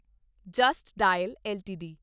just Dial LTD